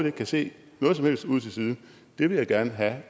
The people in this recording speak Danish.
ikke kan se noget som helst ude til siden det vil jeg gerne have